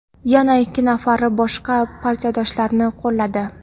yana ikki nafari boshqa partiyadoshlarini qo‘lladi.